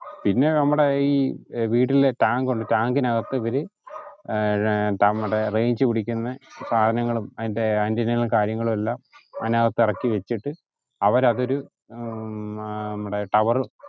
പിന്നെ നമ്മുടെയീ വീട്ടിലെ tank ഉണ്ട് tank ഇന് അകത്ത് ഇവര് അഹ് അഹ് നമ്മടെ range പിടിക്കുന്ന സാധനങ്ങളും അയിന്റെ antina കളും കാര്യങ്ങളും എല്ലാം അയിനാകത്ത്‌ ഇറക്കി വെച്ചിട്ട് അവരതൊരു അഹ് ഉം tower ഉം